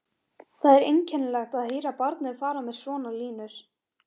Það er einkennilegt að heyra barnið fara með svona línur